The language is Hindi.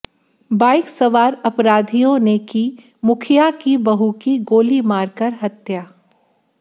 बाइक सवार अपराधियों ने की मुखिया की बहू की गोली मारकर हत्या